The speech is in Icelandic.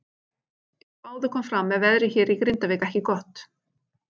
Eins og áður kom fram veðrið hérna í Grindavík ekki gott.